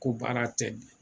Ko baara tɛ nin ye